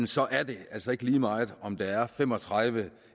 så er det altså ikke lige meget om der er fem og tredive